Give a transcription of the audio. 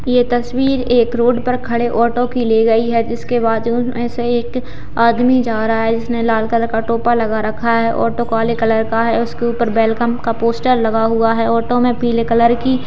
यह तस्वीर एक रोड पर खड़े ऑटो की ले गई है इसके बाजू में से एक आदमी जा रहा है इसने लाल कलर का टॉप लगा रकहा है ऑटो काले कलर की है और उस पर वेलकम का पोस्टर लगा हुआ है ऑटो में पीले कलर की --